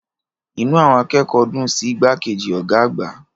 Inú àwọn akẹ́kọ̀ọ́ dùn sí igbákejì ọ̀gá àgbà.